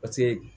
Paseke